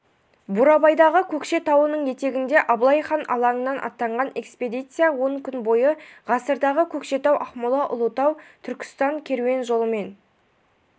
бурабайдағы көкше тауының етегіндегі абылай хан алаңыннан аттанған экспедиция он күн бойы ғасырдағы көкшетау-ақмола-ұлытау-түркістан керуен жолымен